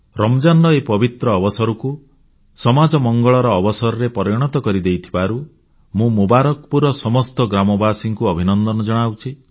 ରମଜାନର ଏହି ପବିତ୍ର ଅବସରକୁ ସମାଜ ମଙ୍ଗଳର ସୁଜୋଗ ଭାବେ ପରିଣତ କରିଦେଇଥିବାରୁ ମୁଁ ମୁବାରକପୁରର ସମସ୍ତ ଗ୍ରାମବାସୀଙ୍କୁ ଅଭିନନ୍ଦନ ଜଣାଉଛି